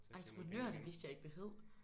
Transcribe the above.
Entreprenør det vidste jeg ikke det hed